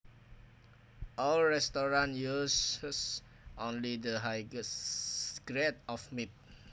Our restaurant uses only the highest grade of meat